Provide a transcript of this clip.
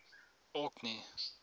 orkney